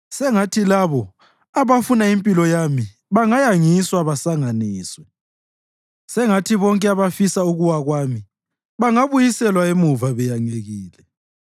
Sengathi labo abafuna impilo yami bangayangiswa basanganiswe; sengathi bonke abafisa ukuwa kwami bangabuyiselwa emuva beyangekile.